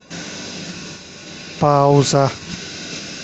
пауза